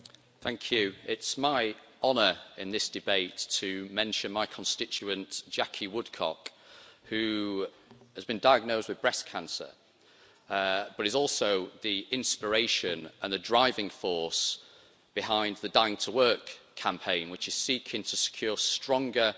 Madam President, it's my honour in this debate to mention my constituent Jacci Woodcock, who has been diagnosed with breast cancer, but is also the inspiration and the driving force behind the Dying to Work campaign which is seeking to secure stronger